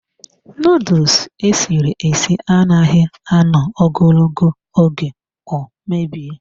Nuduls esiri esi anaghị anọ ogologo oge ọ mebie.